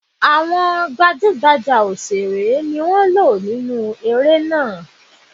Àwọn gbajúgbajà òṣèré ni wọ́n lò nínu eré náà.